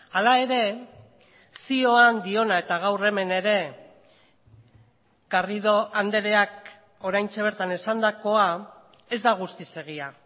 hala ere zioan diona eta gaur hemen ere garrido andreak oraintxe bertan esandakoa ez da guztiz egia